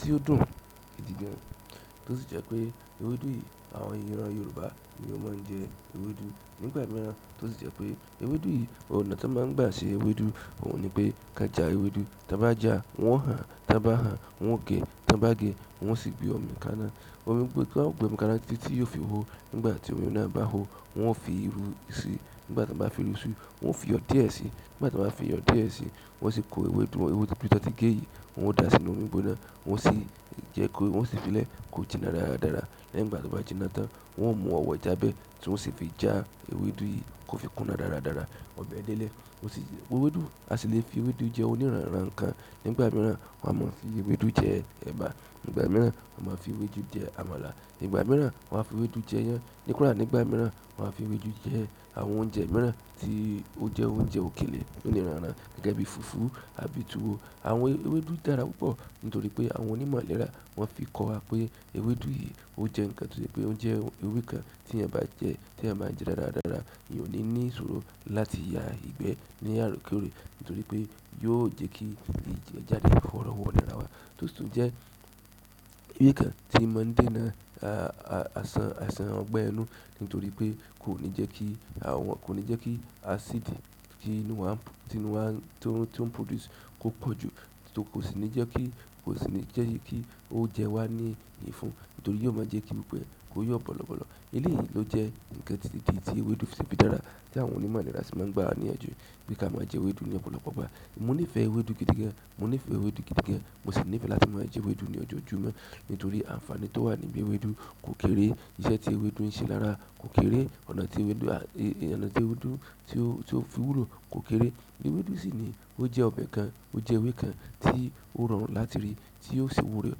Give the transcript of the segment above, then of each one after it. Tí ó dùn gidi gan, tó sì jẹ pé ewédú yìí àwọn ìran Yorùbá ni ó máa ń jẹ ewédú. Nígbà mìíràn tó sì jẹ pé ewédú yìí, ọ̀nà tí wọ́n máa ń gbà ṣe ewédú òun ni pé kán ja ewédú. Tan ba jà, wọ́n o hàn, tan ba hàn, wọ́n o ge, tan ba ge, wọ́n o sì gbé omi kaná. Omi gbo ti won o gbe omi kaná títí tí yóò fi hó. Nígbà tí omi náà bá hó, wọn fi irun sí i. Nígbà tí wọ́n bá fi irú sí i, wọ́n fi iyọ̀ díẹ̀ sí i. Nígbà tí wọ́n bá fi iyọ̀ díẹ̀ sí i, wọ́n sì kó ewédú wọn, ewédú tí wọ́n ti gé yìí, wọ́n dà á sínú omi gbóná. Wọ́n o sì jẹ kó, wọ́n o sì fi lẹ kó jiná dáradára. Lẹ́yìn ìgbà tí o bá jiná tán, wọ́n o mú ọwọ́ ijábẹ́ tí wọ́n o sì fi já ewédú yìí kó fi kúnná dáradára. Ọbẹ̀ dé lẹ́, ó sì. Ewédú, a si le fi ewédú je oniranran nkan. Nígbà mìíràn, wọ́n á mọ̀ fi ewédú jẹ ẹ̀bà. Nígbà mìíràn, wọ́n a máa fi ewédú jẹ àmàlà. Nígbà mìíràn, wọ́n á fi ewédú jẹ iyán. Kódà nígbà miran won a fi ewédú je àwọn oúnjẹ miran ti o je oúnjẹ òkèlè loniran iran gẹ́gẹ́ bi fufu tàbí tuwo. Àwọn ewédú dára púpọ̀ nítorí pé àwọn onímọ̀ ìlera wọ́n fi kọ wa pé ewédú yìí ó jẹ ǹkan tó se pé ó jẹ ewé kan tí eyaan bá jẹ, tí eeyan ba ń jẹ dáradára, eeyan o ní ní ìṣòro láti ya ìgbẹ́ ni orekoore, nitoripe yóò je ki igbe jáde worowo tó sì tun jẹ́ ewé kan tí ń mọ dé náà, àìsàn, àsan ọgbẹ́ inú nítorí pé kò ní jẹ́ kí àwọn, kò ní jẹ́ kí acidì tí inú wa, tí inú wa, tí ó ń produce kó pọ̀ jù. Kò sì ní jẹ́ kí, kò sì ní jẹ́ kí ó jẹ wá ní, ní ifun nítorí yóò máa jẹ́ kí gbogbo e kó yọ̀ bọ̀lọ̀bọ̀lọ̀. Eleyi lo je nka ti, idi ti ewédú si fi dára, ti àwọn onímọ̀ ìlera si ma n gba wa niyanju pe ki a ma je ewédú ni ọ̀pọ̀lọpọ̀ ìgbà. Mo nífẹ̀ẹ́ ewédú gidi gan. Mo nífẹ̀ẹ́ ewédú gidi gan. Mo sì nífẹ̀ẹ́ láti máa je ewédú ní ojoojúmọ́ nítorí àǹfààní tó wà níbi ewédú kò kéré. Iṣẹ́ tí ewédú ń ṣe lára kò kéré. Ọ̀nà tí ewédú, ọnà tí ewédú tí ó fi wúlò kò kéré. Ewédú sì ni ó jẹ́ ọbẹ̀ kan, ó jẹ́ ewé kan tí ó rọrùn láti rí tí ó sì wúlò,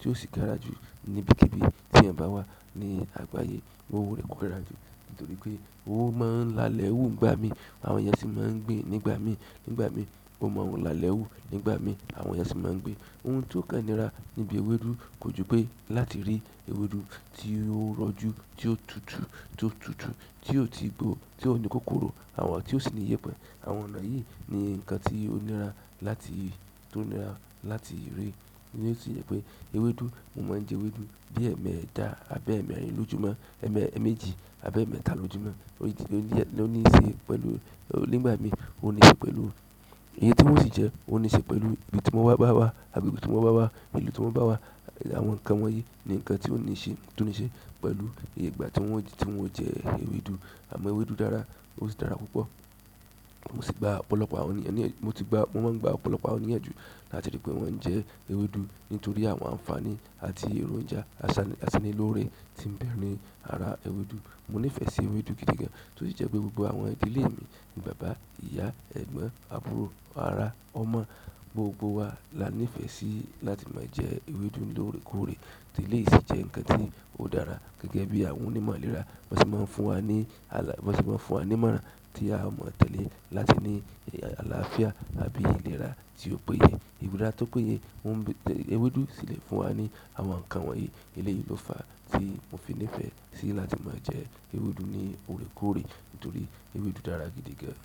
tí ó sì dára jù ní ibíkibí tí ẹyan bá wá ní àgbáyé. Nítorí pe o ma n lálẹ́ wu nígbà mi, àwọn eeyan si ma n gbin nígbà mi nígbà mí, ó máa ń lálẹ́ wú, nígbà mí àwọn eeyan sì máa ń gbin. Ohun tí ó kàn nira níbi ewédú kò ju pé láti rí ewédú tí ó rọ̀jú, tí ó tutù, tí ó tutù, tí ò tí gbo, tí ó ní kòkòrò, àwọn tí ó sì ní ìyèpẹ̀. Àwọn ọ̀nà yìí ni ǹkan tí ó nira láti, tí ó nira láti rí. Tí ó sì jẹ́ pé ewédú, mo máa ń jẹ ewédú bí ẹ́mẹ́ẹ́tá àbí ẹ́mẹ́rin lójúmọ́, ẹ́ẹ́méjì àbí ẹ̀ẹ́mẹ́ta lójúmọ́. Ó ní í ṣe pẹ̀lú, nígbà mí ó ní í ṣe pẹ̀lú iye ti un o sì jẹ́, ó ní í ṣe pẹ̀lú ibi tí mo bá wá, àbí ibi tí mo bá wá, ìlú tí mo bá wá. Àwọn ǹkan wọ́n yìí ni ǹkan tí ó ní í ṣe, tí ó ní í ṣe pẹ̀lú ìgbà tí wọ́n, tí un o jẹ ewédú. Àmọ́ ewédú dára, ó sì dára púpọ̀. Mo si gba ọ̀pọ̀lọpọ̀ àwọn ènìyàn niyanju, mo ti gba, mo man gba ọ̀pọ̀lọpọ̀ àwọn ènìyàn niyanju láti ri pe eon n je ewédú, nítorí àwọn àǹfààní at èròjà asara loore ti n be ni ara ewédú. Mo nífẹ̀ẹ́ sí ewédú gidi gan, tó sì jẹ́ pé gbogbo àwọn ìdílé mi ni bàbá, ìyá, ẹ̀gbọ́n, àbúrò, ara, ọmọ, gbogbo wa la nífẹ̀ẹ́ sí láti máa jẹ ewédú lóòrèkóòrè. Òòrèkóòrè ti eleyii si jẹ́ ǹkan tí ó dára gẹ́gẹ́ bí àwọn onímọ̀ ìlera biwon se máa ń fún wa ní àlà, biwọ́n se máa ń fún wa ní ìmọ̀ràn tí a o mọ̀ tẹ́lẹ̀ láti ní àlàáfíà àbí ìlera tí ò péye. Ìlera tó péye, ewédú sì lè fún wa ní àwọn ǹkan wọ́n yìí. Eleyìí ló fà á tí mo fi nífẹ̀ẹ́ sí láti máa jẹ ewédú ní òòrèkóòrè nítorí ewédú dára gidi gan.